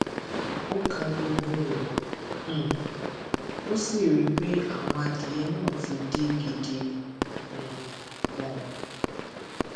ó ka gbogbo rẹ um ó sì rí i pé àwọn adìẹ náà ti dín gidi um ganan